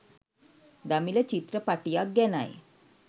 දමිළ චිත්‍රපටියක් ගැනයි